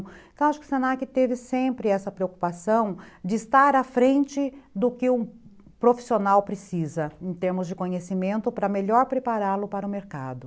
Então, acho que o se na que teve sempre essa preocupação de estar à frente do que o profissional precisa, em termos de conhecimento, para melhor prepará-lo para o mercado.